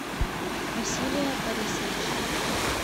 василия борисовича